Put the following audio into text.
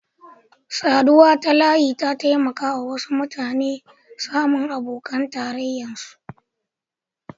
Saduwa ta layi ya taimaka wasu mutane samu abokan tarrayan su.